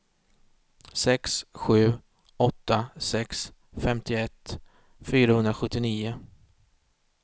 sex sju åtta sex femtioett fyrahundrasjuttionio